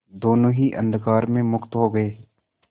दोेनों ही अंधकार में मुक्त हो गए